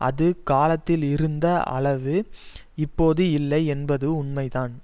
அது காலத்தில் இருந்த அளவு இப்பொது இல்லை என்பது உண்மைதான்